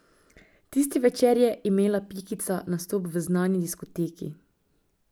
Tisti večer je imela Pikica nastop v znani diskoteki.